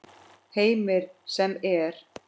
Heimir: Sem er?